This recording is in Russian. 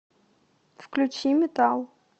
включи метал